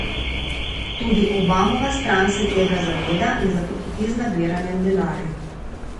Tudi Obamova stran se tega zaveda in zato hiti z nabiranjem denarja.